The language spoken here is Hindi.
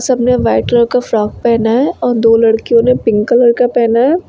सबने वाइट कलर का फ्रॉक पहना है और दो लड़कियों ने पिंक कलर का पहना है।